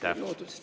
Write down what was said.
Aitäh!